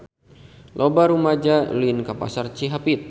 Loba rumaja ulin ka Pasar Cihapit